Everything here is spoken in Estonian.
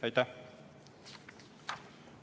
Aitäh!